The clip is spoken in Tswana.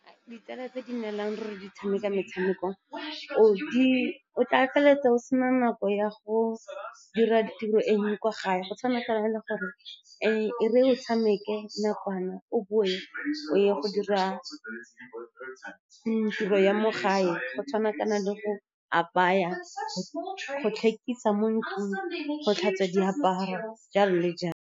Ditsala tse di nnelang ruri di tshameka metshameko, o tla feleletsa o sena nako ya go dira ditiro e nngwe kwa gae, go tshwanakana le gore, e re o tshameke nakwana, o boe o ye go dira tiro ya mo gae go tshwanakana le go apaya, go tlhekisa mo ntlong, go tlhatswa diaparo, jalo le jalo.